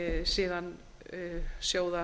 síðan sjóðsmyndunarkerfi eða